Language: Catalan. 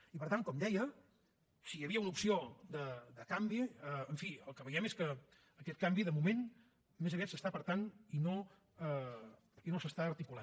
i per tant com deia si hi havia una opció de canvi en fi el que veiem és que aquest canvi de moment més aviat s’aparta i no s’articula